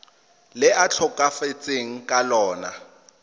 le a tlhokafetseng ka lona